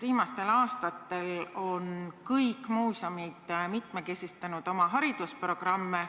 Viimastel aastatel on kõik muuseumid mitmekesistanud oma haridusprogramme.